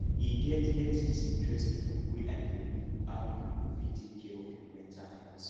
e get get dis interesting book wey i dey read on how you go fit take care of your mental health